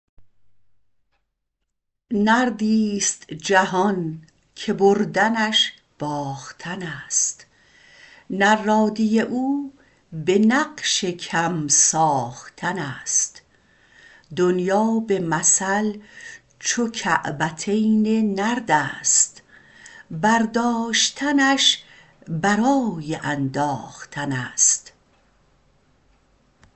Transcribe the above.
نردیست جهان که بردنش باختنست نرادی او به نقش کم ساختنست دنیا به مثل چو کعبتین نردست برداشتنش برای انداختنست